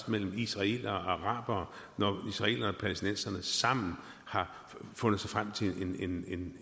mellem israelere og arabere når israelerne palæstinenserne sammen har fundet frem til en